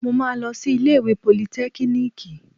Mo máa lọ sí ilé ìwé politẹ́kíníìkì